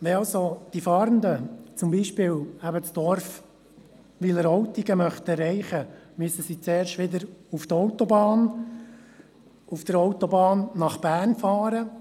Wenn also die Fahrenden zum Beispiel eben das Dorf Wileroltigen erreichen möchten, müssen sie zuerst wieder auf die Autobahn und auf der Autobahn nach Bern fahren.